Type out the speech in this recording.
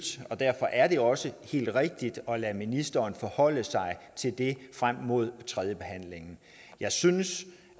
og derfor er det også helt rigtigt at lade ministeren forholde sig til det frem mod tredjebehandlingen jeg synes